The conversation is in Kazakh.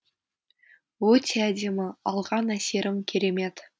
өте әдемі алған әсерім керемет